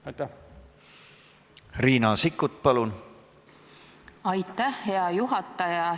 Aitäh, hea juhataja!